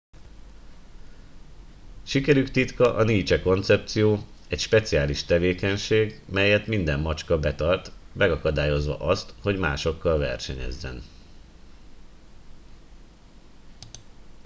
sikerük titka a niche koncepció egy speciális tevékenység melyet minden macska betart megakadályozva azt hogy másokkal versenyezzen